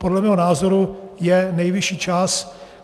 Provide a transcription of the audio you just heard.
Podle mého názoru je nejvyšší čas.